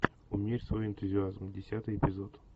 умерь свой энтузиазм десятый эпизод